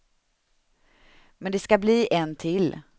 Men det skall bli en till.